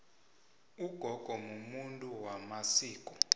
ugogo mumuntu wamasiko